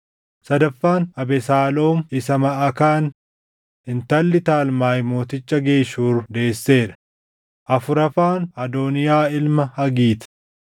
sadaffaan Abesaaloom isa Maʼakaan intalli Talmaay mooticha Geshuur deessee dha; afuraffaan Adooniyaa ilma Hagiit;